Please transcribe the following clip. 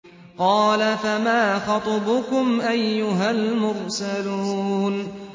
۞ قَالَ فَمَا خَطْبُكُمْ أَيُّهَا الْمُرْسَلُونَ